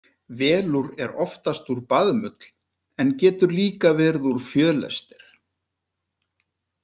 Velúr er oftast úr baðmull, en getur líka verið úr fjölester.